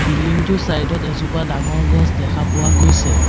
বিল্ডিংটো চাইডত এজোপা ডাঙৰ গছ দেখা পোৱা গৈছে।